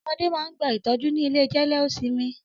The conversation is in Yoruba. Ọmọdé máà ń gba ìtọ́jú ni ilé jẹ́lé ó sinmi.